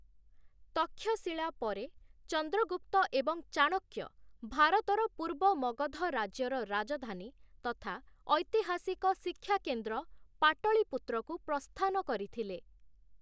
ତକ୍ଷଶିଳା ପରେ, ଚନ୍ଦ୍ରଗୁପ୍ତ ଏବଂ ଚାଣକ୍ୟ ଭାରତର ପୂର୍ବ ମଗଧ ରାଜ୍ୟର ରାଜଧାନୀ ତଥା ଐତିହାସିକ ଶିକ୍ଷା କେନ୍ଦ୍ର ପାଟଳୀପୁତ୍ରକୁ ପ୍ରସ୍ଥାନ କରିଥିଲେ ।